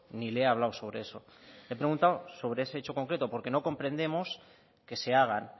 ni le he hablado sobre eso le he preguntado sobre ese hecho concreto porque no comprendemos que se hagan